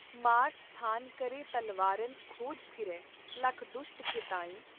ਮਾਰ ਸਥਾਰ ਕਰੈਂ ਤਲਵਾਰਨ ਖੋਜ ਫਿਰੇ ਲਖ ਦੁਸ਼ਟ ਕੇ ਤਾਈਂ।